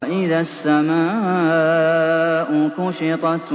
وَإِذَا السَّمَاءُ كُشِطَتْ